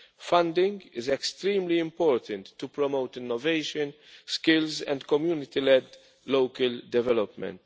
Funding is extremely important to promote innovation, skills and community led local development.